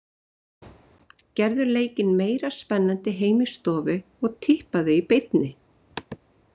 Gerðu leikinn meira spennandi heima í stofu og tippaðu í beinni.